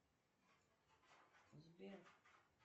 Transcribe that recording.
сбер